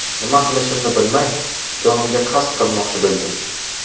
Nima qilishimni bilmay, jonimga qasd qilmoqchi bo‘ldim.